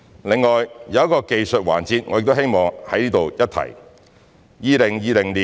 此外，有一個技術環節，我希望在此一提。